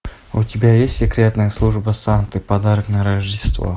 у тебя есть секретная служба санты подарок на рождество